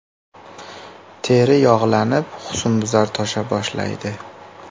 Teri yog‘lanib, husnbuzar tosha boshlaydi.